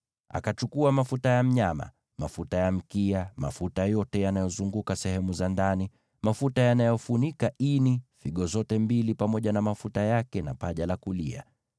Akachukua mafuta ya mnyama, mafuta ya mkia, mafuta yote yanayozunguka sehemu za ndani, mafuta yanayofunika ini, figo zote mbili pamoja na mafuta yake, na paja la kulia.